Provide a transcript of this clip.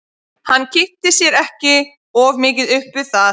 Hann kippti sér ekki of mikið upp við það.